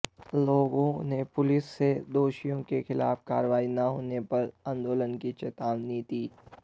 लोगों ने पुलिस से दोषियों के खिलाफ कार्रवाई न होने पर आंदोलन की चेतावनी दी